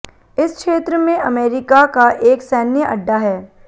इस क्षेत्र में अमेरिका का एक सैन्य अड्डा है